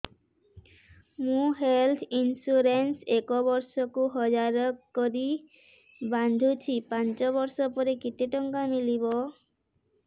ମୁ health insurance ଏକ ବର୍ଷକୁ ହଜାର କରି ବାନ୍ଧୁଛି ପାଞ୍ଚ ବର୍ଷ ପରେ କେତେ ଟଙ୍କା ମିଳିବ